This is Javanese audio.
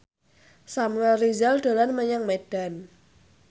Samuel Rizal dolan menyang Medan